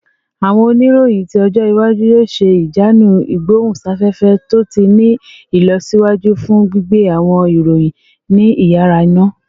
Awọn oniroyin ti ọjọ iwaju yoo ṣe ijanu igbohunsafefe to ti ni ilọsiwaju fun gbigbe awọn iroyin ni iyara-ina